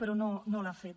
però no l’ha fet